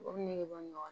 O nege bɔ ɲɔgɔn na